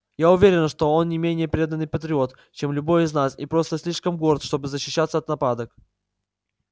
я уверена что он не менее преданный патриот чем любой из нас и просто слишком горд чтобы защищаться от нападок